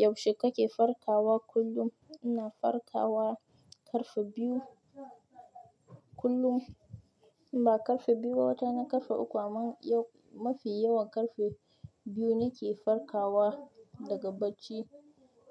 Yaushe kake farkawa kullum? Ina farkawa ƙarfe biyu kullum. Ba ƙarfe biyu ba, wata rana ƙarfe uku, amma yau mafi yawan ƙarfe biyu nake farkawa daga bacci.